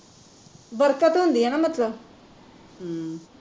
ਬਰਕਤ ਹੁੰਦੀ ਆ ਨਾ ਮਤਲਬ ਅਮ